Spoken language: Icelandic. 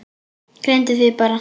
Gleymdi því bara.